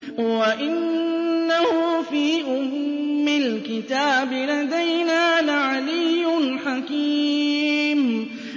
وَإِنَّهُ فِي أُمِّ الْكِتَابِ لَدَيْنَا لَعَلِيٌّ حَكِيمٌ